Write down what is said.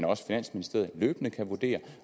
også finansministeriet løbende kan vurdere